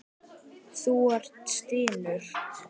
Þú stynur.